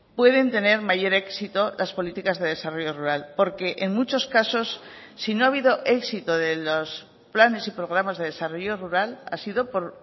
pueden tener mayor éxito las políticas de desarrollo rural porque en muchos casos si no ha habido éxito de los planes y programas de desarrollo rural ha sido por